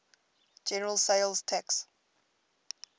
general sales tax